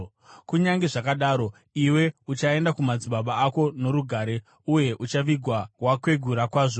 Kunyange zvakadaro, iwe uchaenda kumadzibaba ako norugare uye uchavigwa wakwegura kwazvo.